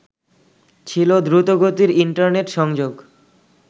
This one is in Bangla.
ছিল দ্রুতগতির ইন্টারনেট সংযোগ